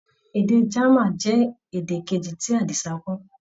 Èdè German jẹ́ èdè Kejì tí Àdìsá kọ́.